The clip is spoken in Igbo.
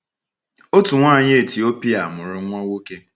Otu nwanyị Etiopia mụrụ nwa nwoke.